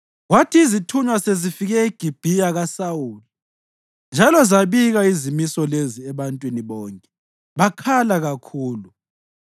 Kwathi izithunywa sezifike eGibhiya kaSawuli njalo zabika izimiso lezi ebantwini bonke bakhala kakhulu.